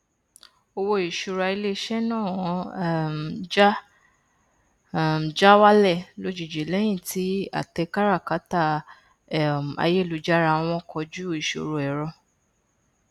owó ìṣúra ilé iṣẹ náà um já um já wálẹ lójijì lẹyìn tí àtẹ káràkátà um ayélujára wọn kojú ìṣòro ẹrọ